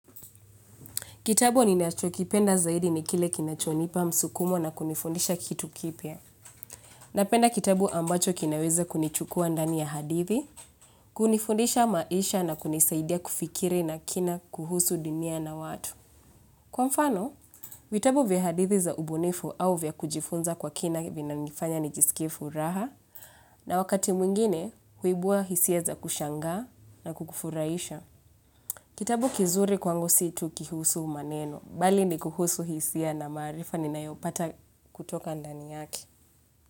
Kitabu ni nacho kipenda zaidi ni kile kinachonipa msukumo na kunifundisha kitu kipya. Napenda kitabu ambacho kinaweza kunichukua ndani ya hadithi, kunifundisha maisha na kunisaidia kufikiri na kina kuhusu dunia na watu. Kwa mfano, vitabu vya hadithi za ubunifu au vya kujifunza kwa kina vyanifanya nijisikie furaha na wakati mwingine huibua hisia za kushangaa na kukufurahisha. Kitabu kizuri kwangu si tu kihusu maneno, bali ni kuhusu hisia na maarifa ninayopata kutoka ndani yake.